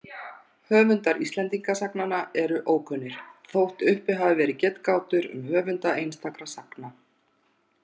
Höfundar Íslendingasagnanna eru ókunnir, þótt uppi hafi verið getgátur um höfunda einstakra sagna.